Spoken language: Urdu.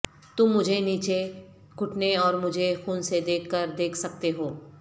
تم مجھے نیچے گھٹنے اور مجھے خون سے دیکھ کر دیکھ سکتے ہو